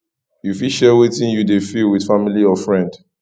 you fit share wetin you dey feel with family or friend